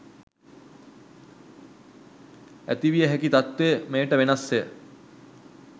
ඇතිවිය හැකි තත්ත්වය මෙයට වෙනස්ය.